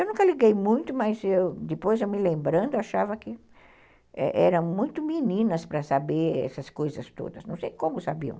Eu nunca liguei muito, mas eu, depois me lembrando, eu achava que eram muito meninas para saber essas coisas todas, não sei como sabiam.